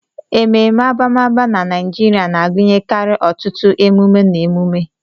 Ememe abamaba na Naijiria na-agụnyekarị ọtụtụ emume na emume.